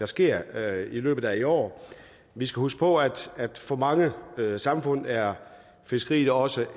sker i løbet af i år vi skal huske på at at for mange samfund er fiskeriet også